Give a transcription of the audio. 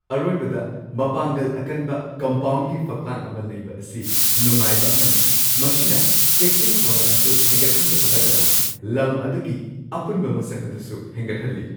ꯑꯔꯣꯏꯕꯗ ꯃꯄꯥꯡꯒꯜ ꯑꯀꯟꯕ ꯀꯝꯄꯥꯎꯟꯒꯤ ꯐꯛꯂꯥꯡ ꯑꯃ ꯂꯩꯕ ꯑꯁꯤ ꯅꯨꯡꯉꯥꯏꯕ ꯑꯃꯅꯤ ꯃꯁꯤꯅ ꯆꯦꯛꯁꯤꯟ ꯊꯧꯔꯥꯡꯁꯨ ꯍꯦꯟꯒꯠꯍꯟꯕꯇ ꯅꯠꯇꯅ ꯂꯝ ꯑꯗꯨꯒꯤ ꯑꯄꯨꯟꯕ ꯃꯁꯛ ꯑꯗꯨꯁꯨ ꯍꯦꯟꯒꯠꯍꯜꯂꯤ ꯫